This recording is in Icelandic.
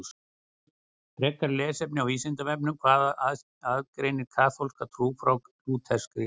Frekara lesefni á Vísindavefnum Hvað aðgreinir kaþólska trú frá lúterskri?